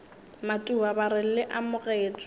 matuba ba re le amogetšwe